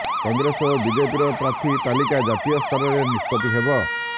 କଂଗ୍ରେସ ଓ ବିଜେପିର ପ୍ରାର୍ଥୀ ତାଲିକା ଜାତୀୟ ସ୍ତରରେ ନିଷ୍ପତ୍ତି ହେବ